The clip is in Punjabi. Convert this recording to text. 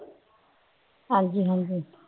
ਹਾਂਜੀ ਹਾਂਜੀ।